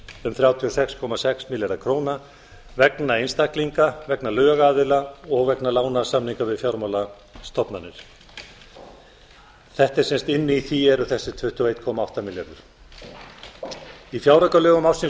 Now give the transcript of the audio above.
um þrjátíu og fimm komma sex milljarðar króna vegna einstaklinga vegna lögaðila og vegna lánasamninga við fjármálastofnanir þetta er sem sagt inni í því eru þessir tuttugu og einn komma átta milljarður í fjáraukalögum ársins